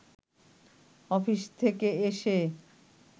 office থেকে এসে